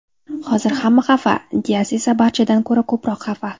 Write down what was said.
Hozir hamma xafa, Dias esa barchadan ko‘ra ko‘proq xafa.